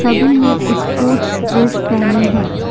सभी ने sports dress पहनी है।